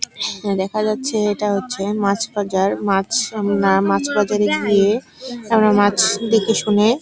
এখানে দেখা যাচ্ছে এটা হচ্ছে মাছ বাজার মাছ আমরা মাছ বাজারে গিয়ে আমরা মাছ দেখে শুনে--